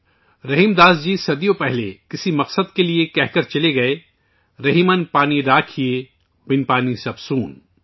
رحیم داس جی صدیوں پہلے کسی مقصد کے لئے کہہ گئے تھے کہ 'رحیمن پانی راکھئے، بن پانی سب سون'